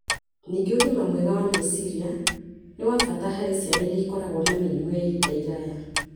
Ningĩ ũgima mwega wa meciria nĩ wa bata harĩ ciana iria ikoragwo na mĩrimũ ya ihinda iraya